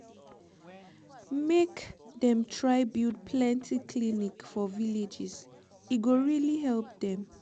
make um dem try build plenty clinic for villages e go really help them.